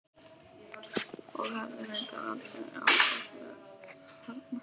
Og hefði reyndar aldrei átt að verða það.